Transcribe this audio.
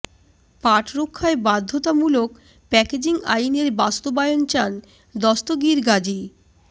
পাট রক্ষায় বাধ্যতামূলক প্যাকেজিং আইনের বাস্তবায়ন চান দস্তগীর গাজী